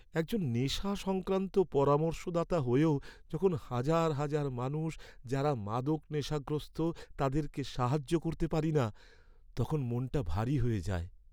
একজন নেশা সংক্রান্ত পরামর্শদাতা হয়েও যখন হাজার হাজার মানুষ যারা মাদক নেশাগ্রস্ত তাদের সাহায্য করতে পারি না, তখন মনটা ভারী হয়ে যায়ে।